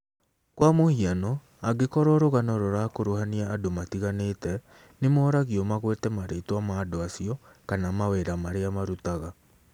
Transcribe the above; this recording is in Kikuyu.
Kwa mũhiano, angĩkorwo rũgano rũrakuruhania andũ matiganĩte, nĩ moragio magwete marĩtwa ma andũ acio kana mawĩra marĩa marutaga.